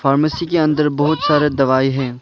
Pharmacy के अंदर बहुत सारे दवाई हैं।